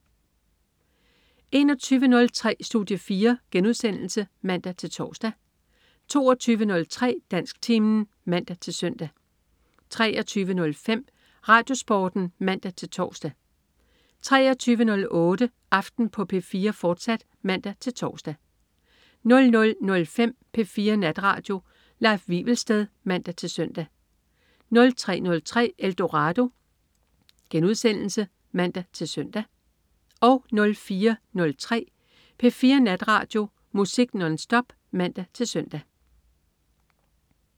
21.03 Studie 4* (man-tors) 22.03 Dansktimen (man-søn) 23.05 RadioSporten (man-tors) 23.08 Aften på P4, fortsat (man-tors) 00.05 P4 Natradio. Leif Wivelsted (man-søn) 03.03 Eldorado* (man-søn) 04.03 P4 Natradio. Musik nonstop (man-søn)